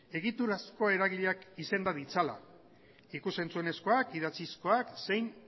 egiturazko eragileak izenda ditzala ikus entzunezkoak idatzizkoak zein